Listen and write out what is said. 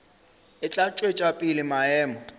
e tla tšwetša pele maemo